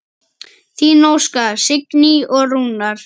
Þín Óskar, Signý og Rúnar.